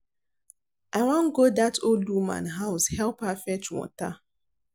I wan go dat old woman house help her fetch water